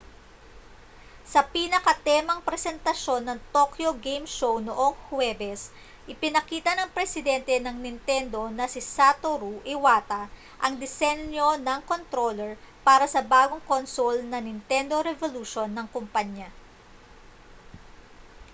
sa pinakatemang presentasyon ng tokyo game show noong huwebes ipinakita ng presidente ng nintendo na si satoru iwata ang disenyo ng kontroler para sa bagong console na nintendo revolution ng kompanya